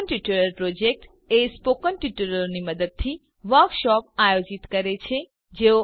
spoken tutorial project spoken ટ્યુટોરીયલોનાં મદદથી વર્કશોપો કાર્યશાળાઓનું આયોજન કરે છે